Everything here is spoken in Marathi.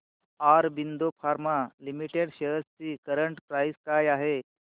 ऑरबिंदो फार्मा लिमिटेड शेअर्स ची करंट प्राइस काय आहे